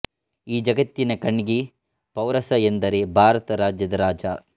ಈ ಜಗತ್ತಿನ ಕಣ್ನಿಗೆ ಪೌರಸ ಎಂದರೇ ಭಾರತ ರಾಜ್ಯದ ರಾಜ